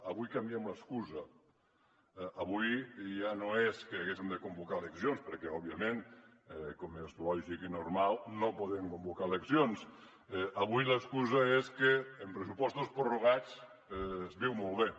avui canviem l’excusa avui ja no és que haguéssem de convocar eleccions perquè òbviament com és lògic i normal no podem convocar eleccions avui l’excusa és que amb pressupostos prorrogats es viu molt bé